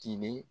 Tilene